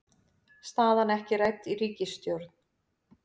Staðan ekki rædd í ríkisstjórn